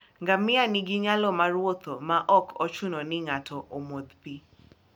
Ngamia ni gi nyalo mar wuotho maok ochuno ni ng'ato omodh pi